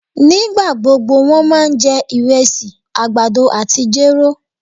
Nígbagbógbó wón ma jẹ irésì, àgbàdo àtí jéró